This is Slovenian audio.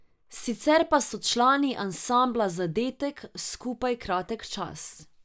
Sicer pa so člani ansambla Zadetek skupaj kratek čas.